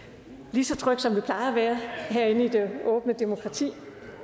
lige så tryg som man plejer at være herinde i det åbne demokrati